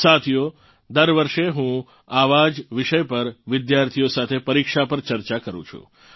સાથીઓ દર વર્ષે હું આવાં જ વિષય પર વિદ્યાર્થીઓ સાથે પરીક્ષા પર ચર્ચા કરું છું